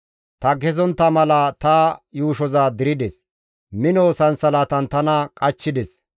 Ta kezontta mala ta yuushoza dirdes; mino sansalatan tana qachchides.